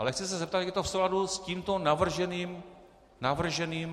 Ale chci se zeptat, jak je to v souladu s tímto navrženým zákonem.